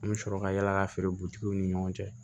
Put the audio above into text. An bɛ sɔrɔ ka yala ka feere butigiw ni ɲɔgɔn cɛ